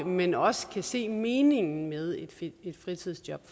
men også kan se en mening med et fritidsjob